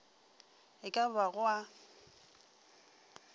e ka ba go a